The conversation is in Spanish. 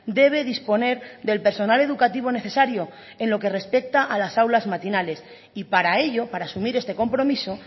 debe disponer del personal educativo necesario en lo que respecta a las aulas matinales y para ello para asumir este compromiso